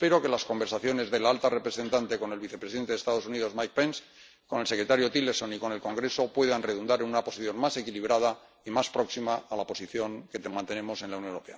Espero que las conversaciones de la alta representante con el vicepresidente de los Estados Unidos, Mike Pence, con el secretario Tillerson y con el Congreso puedan redundar en una posición más equilibrada y más próxima a la posición que mantenemos en la Unión Europea.